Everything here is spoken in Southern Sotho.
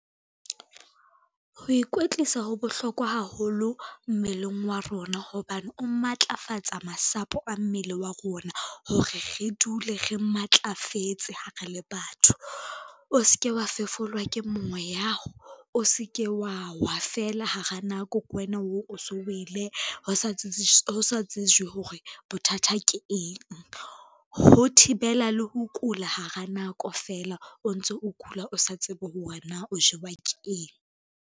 Ho ikwetlisa ho bohlokwa haholo mmeleng wa rona, hobane o matlafatsa masapo a mmele wa rona hore re dule re matlafetse ha re le batho. O ske wa fefolwa ke moya, o se ke wa wa fela hara nako, ke wena oo o so wele ho sa tsejwe hore bothata ke eng. Ho thibela le ho kula hara nako fela, o ntso o kula o sa tsebe hore na o jewa ke.